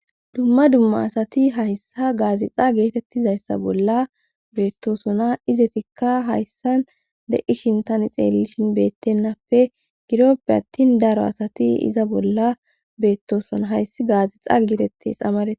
dumma dumma asati hayssa gaazixa geetettizayssa bolla beettosona izetikka hayssan de7ishin tani xeelishin beettennappe gidoppe attin daro asati iza bolla beettosona hayssi gaazixan gitettes amaree